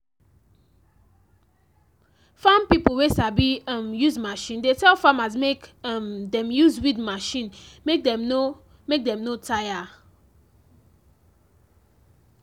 farm pipo wey sabi um use machine de tell farmers make um dem use weed machine mek dem no mek dem no tire um